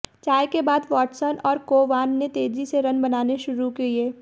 चाय के बाद वाटसन और कोवान ने तेजी से रन बनाने शुरू किए